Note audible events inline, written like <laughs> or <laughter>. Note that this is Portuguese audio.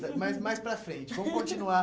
Mas mais para frente, vamos continuar. <laughs>